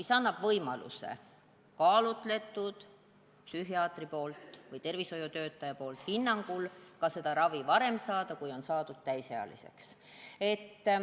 See annab võimaluse psühhiaatri või tervishoiutöötaja antud kaalutletud hinnangu põhjal saada vajalikku ravi ka enne täisealiseks saamist.